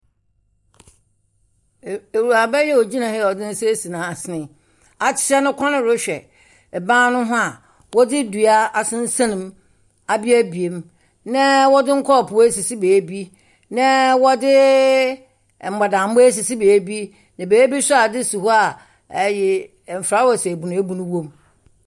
E…ewuraba yi a ogyina ha a ɔdze ne nsa esi n'asene yi, wakyea ne kɔn rehwɛ ban no ho a wodzi dua asensɛn mu, abuebue mu, na wɔdze nkɔɔpoo esisi beebi, na wɔdze mbɔdambɔ esisi beebi, na beebi nso a adze si hɔ a ey mfrawase ebunuebunu wom.